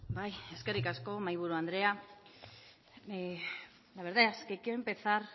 bai eskerrik asko mahaiburu andrea la verdad es que qué empezar